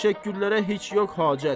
Bu təşəkkürlərə heç yox hacət.